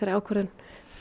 ákvörðun